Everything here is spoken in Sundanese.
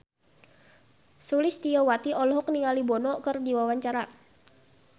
Sulistyowati olohok ningali Bono keur diwawancara